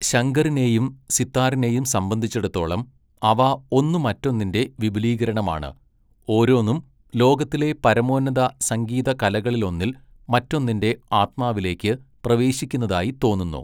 ശങ്കറിനെയും സിത്താറിനെയും സംബന്ധിച്ചിടത്തോളം, അവ ഒന്നു മറ്റൊന്നിന്റെ വിപുലീകരണമാണ്, ഓരോന്നും ലോകത്തിലെ പരമോന്നത സംഗീത കലകളിലൊന്നിൽ മറ്റൊന്നിന്റെ ആത്മാവിലേക്ക് പ്രവേശിക്കുന്നതായി തോന്നുന്നു.